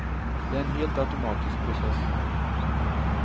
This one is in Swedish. Det är en helt automatisk process.